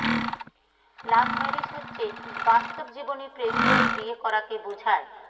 লাভ marriage হচ্ছে বাস্তব জীবনে প্রেম করে বিয়ে করাকে বোঝায়